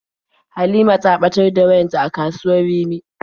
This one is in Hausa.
Halima ta ɓatar da wayarta a kasuwar Rimi.